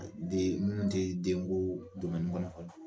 Den minnu tɛ denko kɔnɔ fɔlɔ.